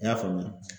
I y'a faamu